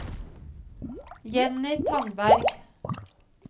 Jenny Tandberg